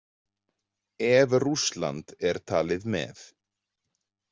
Ef Rússland er talið með.